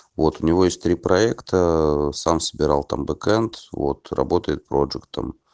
вот у него есть три проекта сам собирал там бэкент вот работает проджектом